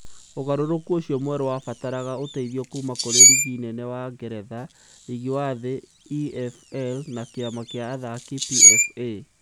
Ũgarũrũku ũcio mwerũ wabataraga ũteithio kuuma kũrĩ riigi nene wa Ngeretha, riigi wa thĩ, EFL, na kĩama kĩa athaki, PFA.